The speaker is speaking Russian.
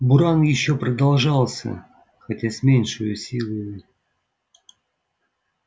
буран ещё продолжался хотя с меньшею силою